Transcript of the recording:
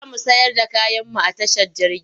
Za mu sayar da kayanmu a tashar jirgin.